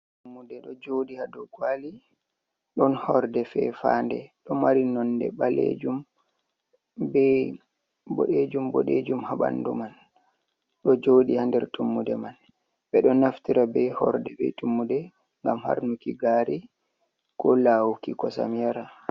Tummude ɗo joɗi hado kwali, don horde fefa'nde ɗo mari nonde ɓalejum be bodejum ha ɓandu man, ɗo jodi ha nder tummude man. Ɓe ɗo naftira be horde be tummude ngam harnuki gari, ko lawuki kosam yara.